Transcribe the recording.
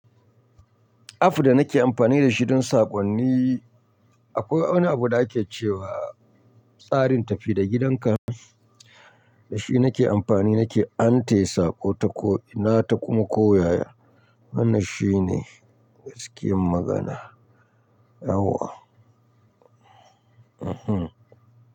App da nake amfani dashi don saƙonni akwai wani abu da ake cewa tsarin tafi da gidanka. Dashi nake amfani, nake antaya saƙo, tako ina ta kuma ko yaya. Hannan shi ne gaskiyar magana. Yauwa.